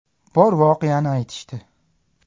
Bor voqeani aytishdi.